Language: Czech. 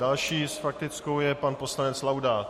Další s faktickou je pan poslanec Laudát.